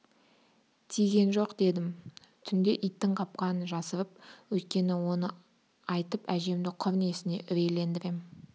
тиген жоқ дедім түнде иттің қапқанын жасырып өйткені оны айтып әжемді құр несіне үрейлендірем